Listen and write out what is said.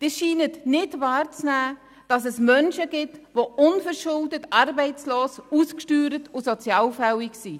Sie scheinen nicht wahrzunehmen, dass es Menschen gibt, die unverschuldet arbeitslos, ausgesteuert und sozialfällig sind.